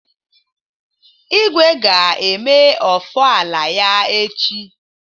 Igwe ga-eme Ofala ya echi.